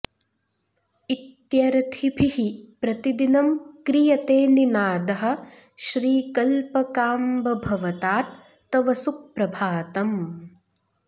इत्यर्थिभिः प्रतिदिनं क्रियते निनादः श्रीकल्पकाम्ब भवतात् तव सुप्रभातम्